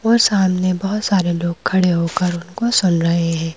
और सामने बहुत सारे लोग खड़े होकर उनको सुन रहे हैं।